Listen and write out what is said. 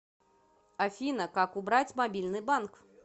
афина как убрать мобильный банк